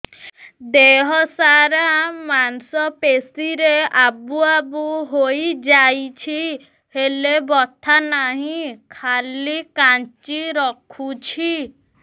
ଦେହ ସାରା ମାଂସ ପେଷି ରେ ଆବୁ ଆବୁ ହୋଇଯାଇଛି ହେଲେ ବଥା ନାହିଁ ଖାଲି କାଞ୍ଚି ରଖୁଛି